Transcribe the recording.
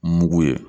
Mugu ye